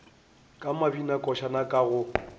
ka mabinakošana a ka go